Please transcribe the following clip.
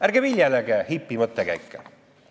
Ärge viljelege hipilikke mõttekäike!